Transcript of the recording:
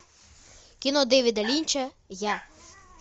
кино дэвида линча я